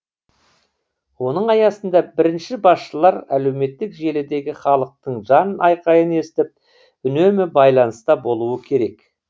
оның аясында бірінші басшылар әлеуметтік желідегі халықтың жан айқайын естіп үнемі байланыста болуы керек